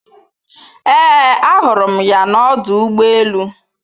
Ee ahụrụ m ya na ọdụ ụgbọ elu